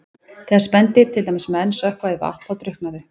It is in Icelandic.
Þegar spendýr, til dæmis menn, sökkva í vatn þá drukkna þau.